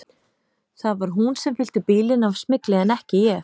Það var hún sem fyllti bílinn af smygli en ekki ég.